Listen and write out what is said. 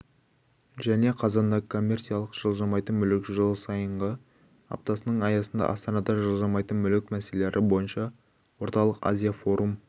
және қазанда коммерциялық жылжымайтын мүлік жылсайынғы аптасының аясында астанада жылжымайтын мүлік мәселелері бойынша орталық-азия форум